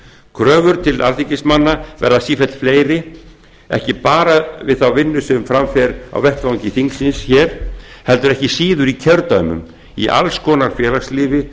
kröfur til alþingismanna verða sífellt fleiri ekki bara við þá vinnu sem fram fer á vettvangi þingsins heldur ekki síður í kjördæmum í alls konar félagslífi